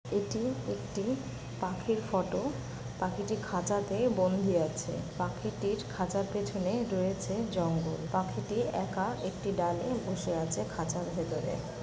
এটি একটি পাখির ফটো । পাখিটি খাঁচাতে বন্দী আছে। পাখিটির খাঁচার পেছনে রয়েছে জঙ্গল। পাখিটি একা একটি ডালে বসে আছে খাঁচার ভেতর।